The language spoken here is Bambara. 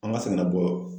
An ka sɛgɛnna bɔ